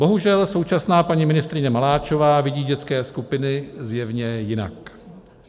Bohužel současná paní ministryně Maláčová vidí dětské skupiny zjevně jinak.